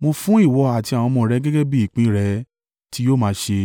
mo fún ìwọ àti àwọn ọmọ rẹ gẹ́gẹ́ bí ìpín rẹ tí yóò máa ṣe.